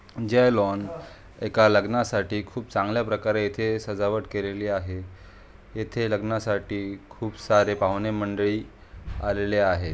ज्या लॉन एक लग्नासाठी खूप चांगल्या प्रकारे येथे सजावट केलेली आहे. येथे लग्नासाठी खूप सारे पाहुणे मंडळी आलेले आहे.